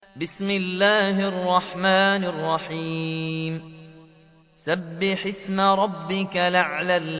سَبِّحِ اسْمَ رَبِّكَ الْأَعْلَى